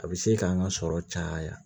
A bɛ se k'an ka sɔrɔ caya